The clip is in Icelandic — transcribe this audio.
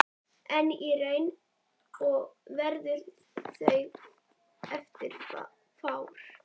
En í raun og veru voru þeir fáir.